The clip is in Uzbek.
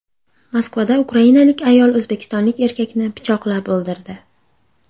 Moskvada ukrainalik ayol o‘zbekistonlik erkakni pichoqlab o‘ldirdi.